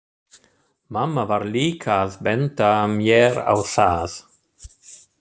Mamma var líka að benda mér á það.